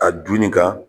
A dunni ka